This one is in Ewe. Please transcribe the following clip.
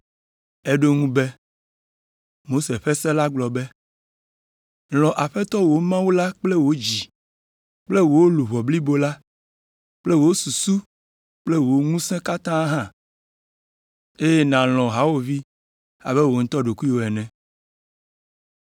Eɖo eŋu be, “Mose ƒe se la gblɔ be, ‘Lɔ̃ Aƒetɔ wò Mawu la kple wò dzi kple luʋɔ blibo la kple wò susu kple wò ŋusẽ katã hã, eye nàlɔ̃ hawòvi abe wò ŋutɔ ɖokuiwò ene.’ ”